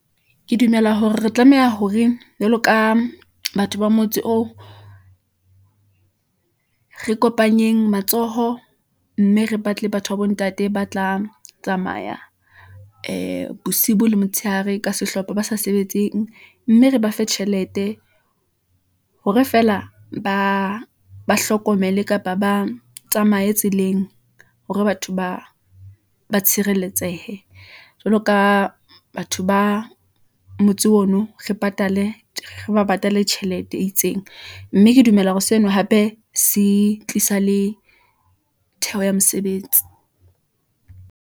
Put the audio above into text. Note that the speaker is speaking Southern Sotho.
Ke dumela hore re tlameha hore jwalo ka batho ba motse oo , re kopanyeng matsoho , mme re batle batho ba bo ntate ba tla tsamaya ee bosibu le motshehare, ka sehlopha ba sa sebetseng , mme re ba fe tjhelete hore feela ba hlokomele kapa ba tsamaye tseleng , hore batho ba tshireletsehe . Jwalo ka batho ba motse ono, re ba patale tjhelete e itseng , mme ke dumela hore seno hape se tlisa le theho ya mesebetsi.